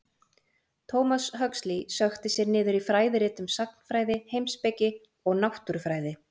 Thomas Huxley sökkti sér niður í fræðirit um sagnfræði, heimspeki og náttúrufræði.